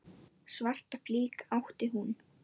Svarta flík átti hún ekki.